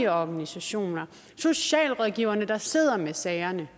organisationer socialrådgiverne der sidder med sagerne